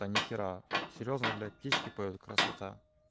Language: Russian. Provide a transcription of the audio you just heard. а нихера серьёзно блять птички поют красота